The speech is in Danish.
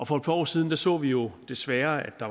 for et par år siden så vi jo desværre at